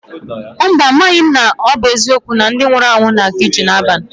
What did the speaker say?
Mba, amaghị m ma ọ bụ eziokwu na ndị nwụrụ anwụ na-eje ije n'abalị.